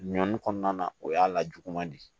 Ɲɔni kɔnɔna na o y'a lajugu man di